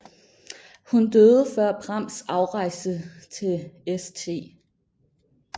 Hun døde før Prams afrejse til St